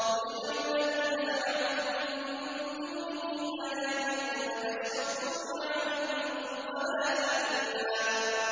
قُلِ ادْعُوا الَّذِينَ زَعَمْتُم مِّن دُونِهِ فَلَا يَمْلِكُونَ كَشْفَ الضُّرِّ عَنكُمْ وَلَا تَحْوِيلًا